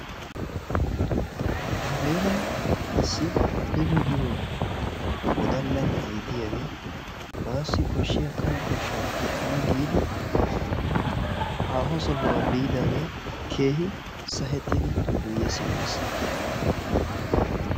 Nu heeran issi Abbeba giyo wodalla na'ay diyagee bassi koshshiya kane koshshaa kunttana giidi haaho sohuwa biidaagee keehi sahettidi guyye simmiis.